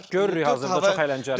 Görürük hazırda çox əyləncəlidir.